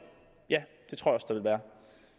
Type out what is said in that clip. ja